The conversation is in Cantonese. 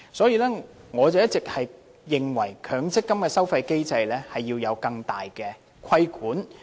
因此，我一直認為強積金的收費機制要有更大的規管。